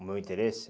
o meu interesse?